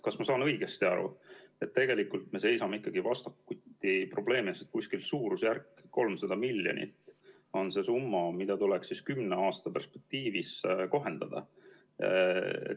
Kas ma saan õigesti aru, et me seisame ikkagi vastakuti probleemiga, et suurusjärgus 300 miljonit on see summa, mida tuleks kümne aasta perspektiivis kohendada?